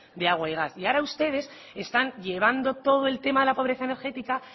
de agua y gas y ahora ustedes están llevando todo el tema de la pobreza energética